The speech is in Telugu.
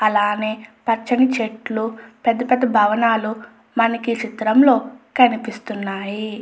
అలానే పచ్చని చెట్లు పెద్ద పెద్ద భవనాలు మనకీ చిత్రంలో కనిపిస్తున్నాయి.